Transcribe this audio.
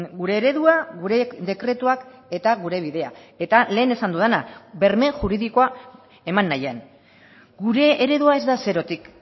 gure eredua gure dekretuak eta gure bidea eta lehen esan dudana berme juridikoa eman nahian gure eredua ez da zerotik